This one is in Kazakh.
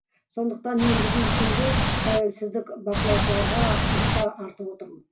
сондықтан мен бүгінгі күнді тәуелсіздік бақылаушыларға үміт артып отырмын